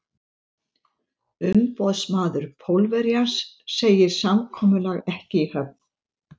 Umboðsmaður Pólverjans segir samkomulag ekki í höfn.